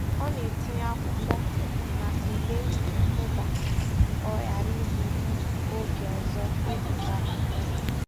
Ọ na-etinye akwụkwọ maka ule mpụga ka ọ ghara igbu oge ọzọ n'ịgụcha akwụkwọ ya.